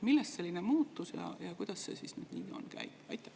Millest selline muutus ja kuidas see siis nüüd käib?